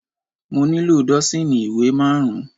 Mo nílò dọ́sììnì ìwé má rùn-ún.